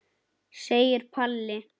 segir Palli.